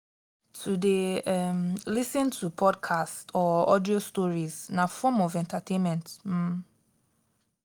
to de um lis ten to podcasts or audio stories na form of entertainment um